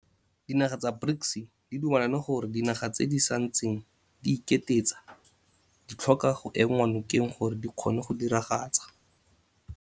Dinaga tsa BRICS di dumelane gore dinaga tse di santseng di iketetsa ditlhoka go enngwa nokeng gore di kgone go diragatsa